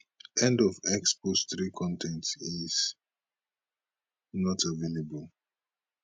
end of x post 3 con ten t is not available